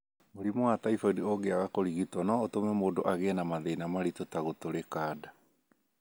Mũrimũ wa typhoid ũngĩaga kũrigitwo no ũtũme mũndũ agĩe na mathĩna maritũ ta gũtũrika nda.